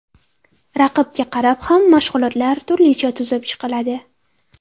Raqibga qarab ham mashg‘ulotlar turlicha tuzib chiqiladi.